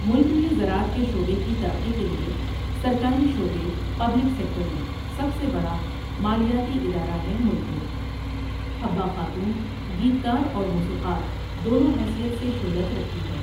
ملک میں زراعت کے شعبے کی ترقی کے لیے سرکاری شعبے پبلک سیکٹر میں سب سے بڑا مالیاتی ادارہ ہے ملک میں. حبہ خاتون گیت کار اور موسیقار دونوں حیثیت سے شہرت رکھتی ہے ۔